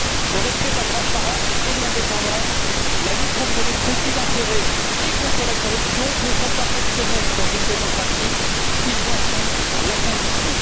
Le respect de la transparence et de l'indépendance ainsi que la lutte contre les conflits d'intérêts et la corruption ne sont pas optionnels dans une démocratie, ils en sont la condition.